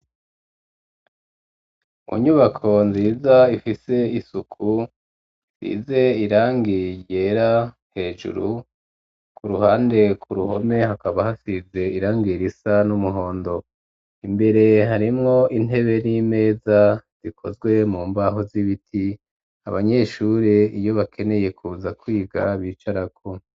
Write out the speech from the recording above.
Mu nyubako nziza ifise isuku ,size irangi ryera hejuru ,ku ruhande ku ruhome hakaba hasize irangi risa n'umuhondo ,imbere harimwo intebe n'imeza ,zikozwe mu mbaho z'ibiti ,abanyeshuri iyo bakeneye kuza kwiga bicarako.